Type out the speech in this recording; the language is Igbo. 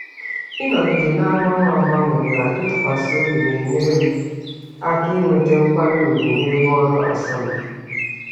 Ịnọgide na-agbanwe agbanwe na ịtụkwasị obi na-enyere m aka inweta nkwanye ùgwù n'ebe ọrụ asọmpi.